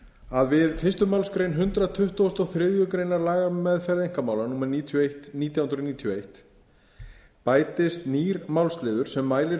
að við fyrstu málsgrein hundrað tuttugasta og þriðju grein laga um meðferð einkamála númer níutíu og eitt nítján hundruð níutíu og eitt bætist nýr málsliður sem mælir